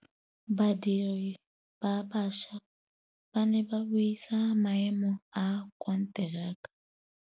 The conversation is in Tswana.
Badiri ba baša ba ne ba buisa maêmô a konteraka.